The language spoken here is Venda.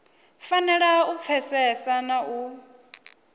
fanela u pfesesa na u